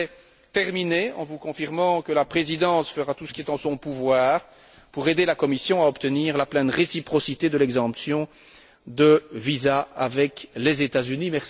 Je voudrais terminer en vous confirmant que la Présidence fera tout ce qui est en son pouvoir pour aider la Commission à obtenir la pleine réciprocité de l'exemption de visa avec les États Unis.